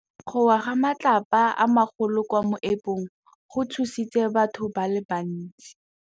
Go wa ga matlapa a magolo ko moepong go tshositse batho ba le bantsi.